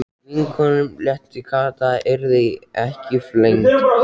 Vinkonunum létti, Kata yrði ekki flengd, hættan var liðin hjá.